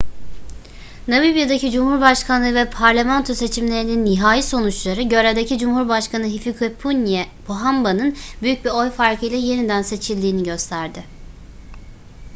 namibya'daki cumhurbaşkanlığı ve parlamento seçimlerinin nihai sonuçları görevdeki cumhurbaşkanı hifikepunye pohamba'nın büyük bir oy farkıyla yeniden seçildiğini gösterdi